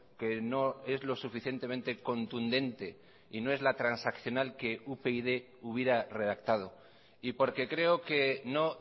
que no es lo suficientemente contundente y no es la transaccional que upyd hubiera redactado y porque creo que no